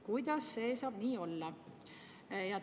Kuidas see saab nii olla?